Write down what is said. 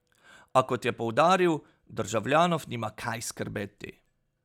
A, kot je poudaril, državljanov nima kaj skrbeti.